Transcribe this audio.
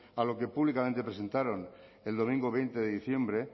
a lo que públicamente presentaron el domingo veinte de diciembre